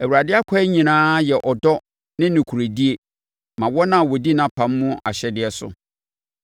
Awurade akwan nyinaa yɛ ɔdɔ ne nokorɛdie ma wɔn a wɔdi nʼapam mu ahyɛdeɛ soɔ.